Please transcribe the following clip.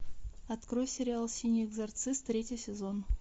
открой сериал синий экзорцист третий сезон